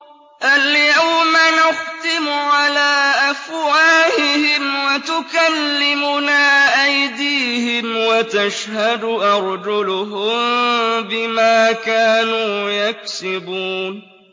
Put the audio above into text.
الْيَوْمَ نَخْتِمُ عَلَىٰ أَفْوَاهِهِمْ وَتُكَلِّمُنَا أَيْدِيهِمْ وَتَشْهَدُ أَرْجُلُهُم بِمَا كَانُوا يَكْسِبُونَ